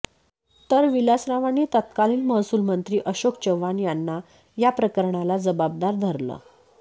तर विलासरावांनी तत्कालीन महसूलमंत्री अशोक चव्हाण यांना याप्रकरणाला जबाबदार धरलं